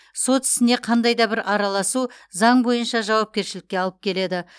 сот ісіне қандай да бір араласу заң бойынша жауапкершілікке алып келеді